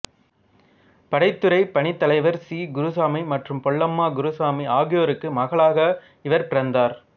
படைத்துறை பணித் தலைவர் சி குருசாமி மற்றும் பொல்லம்மா குருசாமி ஆகியோருக்கு மகளாக இவர் பிறந்தார்